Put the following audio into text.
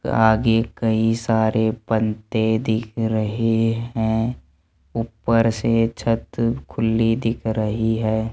आगे कई सारे पंते दिख रहे हैं ऊपर से छत खुली दिख रही है।